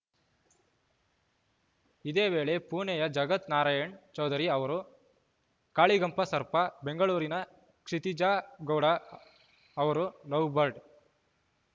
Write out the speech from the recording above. ಇದೇವೇಳೆ ಪುಣೆಯ ಜಗತ್‌ ನಾರಾಯಣ್‌ ಚೌಧುರಿ ಅವರು ಕಾಳಿಗಂಪ ಸರ್ಪ ಬೆಂಗಳೂರಿನ ಕ್ಷಿತಿಜಾ ಗೌಡ ಅವರು ಲವ್‌ ಬರ್ಡ್‌